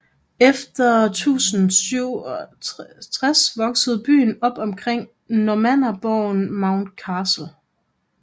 Efter 1067 voksede byen op omkring normannerborgen Monmouth Castle